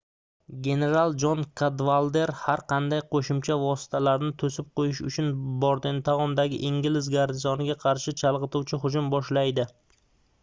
general jon kadvalder har qanday qoʻshimcha vositalarni toʻsib qoʻyish uchun bordentaundagi ingliz garnizoniga qarshi chalgʻituvchi hujum boshlaydi